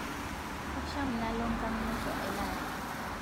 Kasham nalo nkang musho elari